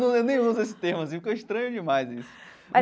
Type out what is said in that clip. Não eu nem uso esse termo assim, porque eu estranho demais isso.